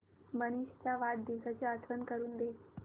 मनीष च्या वाढदिवसाची आठवण करून दे